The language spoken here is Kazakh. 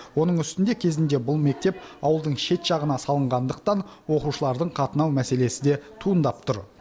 оның үстіне кезінде бұл мектеп ауылдың шет жағына салынғандықтан оқушылардың қатынау мәселесі де туындап тұр